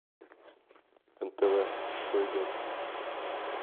нтв что идет